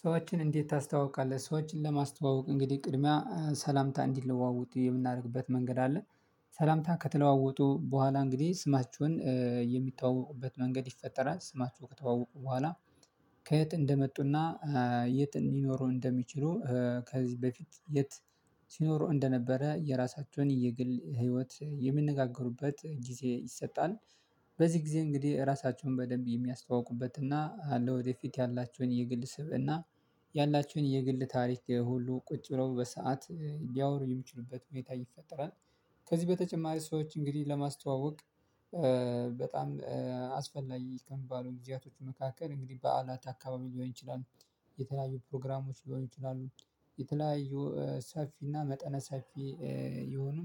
ሰዎችን እንዴት? ታስተዋውቃለህ ሰዎችን ለማስተዋወቅ እንግዲህ ቅድሚያ ሰላምታ እንዲለዋወጡ የምናደርግበት መንገድ አለ። ሰላምታ ከተለዋወጡ በኋላ እንግዲህ ስማችሁን የሚታወቁበት መንገድ ይፈጠራል ስማችሁ ከተዋወቁ በኋላ። ከየት እንደመጡና የት እንዲኖሩ እንደሚችሉ ከዚህ በፊት የት ሲኖሩ እንደነበረ የራሳቸውን የግል ህይወት የሚነጋገሩበት ጊዜ ይሰጣል። በዚህ ጊዜ እንግዲህ ራሳቸውን በደንብ የሚያስተዋውቁበት እና ለወደፊት ያላቸውን የግል ስብእና ያላችሁን የግል ታሪክ ሁሉ ቁጭ ብለው በሰአት ሊያወሩ የሚችሉበት ሁኔታ ይፈጠራል። ከዚህ በተጨማሪ ሰዎች እንግዲህ ለማስተዋወቅ በጣም አስፈላጊ ከሚባሉት ጊዜያቶች መካከል እንግዲህ በዓላት አካባቢ ሊሆን ይችላል። የተለያዩ ፕሮግራሞች ሊሆን ይችላሉ። የተለያዩ ሰፊና መጠነ ሰፊ የሆኑ